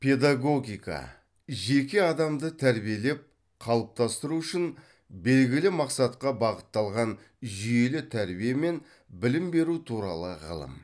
педагогика жеке адамды тәрбиелеп қалыптастыру үшін белгілі мақсатқа бағытталған жүйелі тәрбие мен білім беру туралы ғылым